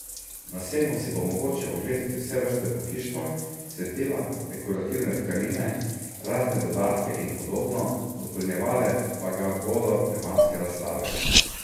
Na sejmu si bo mogoče ogledati vse vrste pohištva, svetila, dekorativne tkanine, razne dodatke in podobno, dopolnjevale pa ga bodo tematske razstave.